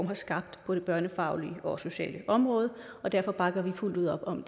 har skabt på det børnefaglige og sociale område og derfor bakker vi fuldt ud op om